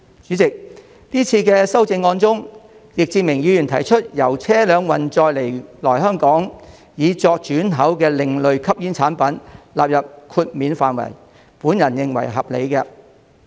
主席，這次修正案中，易志明議員提出把由車輛運載來港以作轉口的另類吸煙產品納入豁免範圍，我認為是合理的。